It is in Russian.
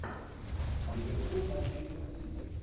ливерпуль манчестер сити